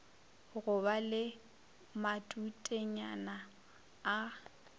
go ba le matutenyana a